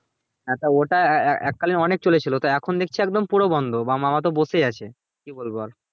হ্যাঁ তো ওটা এক কালে অনেক চলে ছিলো তো এখন দেখছি একদম পুরো বন্ধ আমার মামা তো বসেই আছে কি বলবো আর